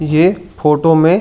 ये फोटो में--